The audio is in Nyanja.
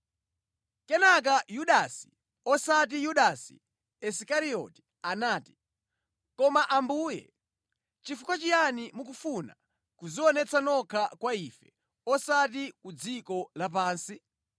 Kenaka Yudasi (osati Yudasi Isikarioti) anati, “Koma Ambuye, nʼchifukwa chiyani mukufuna kudzionetsa nokha kwa ife, osati ku dziko lapansi?”